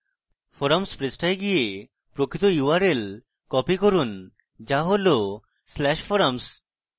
forums পৃষ্ঠায় go প্রকৃত url copy করুন go হল/forum